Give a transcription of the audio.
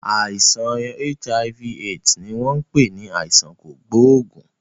Àìsàn HIV/AIDS ni wọn pè ní àìsàn kògóògùn.